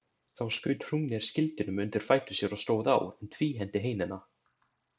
Þá skaut Hrungnir skildinum undir fætur sér og stóð á, en tvíhenti heinina.